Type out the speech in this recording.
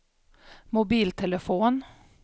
mobiltelefon